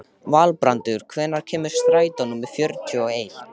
Valbrandur, hvenær kemur strætó númer fjörutíu og eitt?